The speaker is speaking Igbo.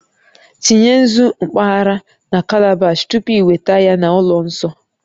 Tinye nzu mpaghara na calabash tupu ị weta ya na ụlọ nsọ